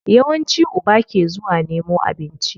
Yawanci uba ke zuwa nemo abinci.